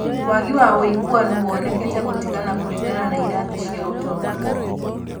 Waagi wa wũigananu wonekete gũtigana kũringana na irathi cia ũtonga